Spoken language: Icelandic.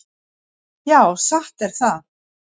Já, satt er það.